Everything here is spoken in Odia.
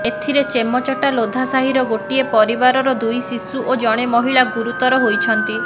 ଏଥିରେ ଚେମଚଟା ଲୋଧା ସାହିର ଗୋଟିଏ ପରିବାରର ଦୁଇ ଶିଶୁ ଓ ଜଣେ ମହିଳା ଗୁରୁତର ହୋଇଛନ୍ତି